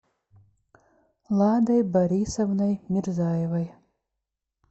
ладой борисовной мирзаевой